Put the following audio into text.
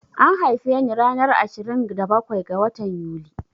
An haife ni ranar ashirin da bakwai ga watan Yuli